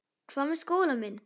Hvað með skólann minn?